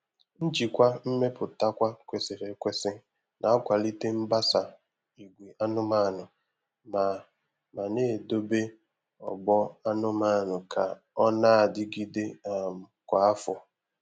Njikwa mmeputakwa kwesịrị ekwesị na-akwalite mbasa ìgwè anụmanụ ma ma na-edobe ọgbọ anụmanụ ka ọ na-adịgide um kwa afọ.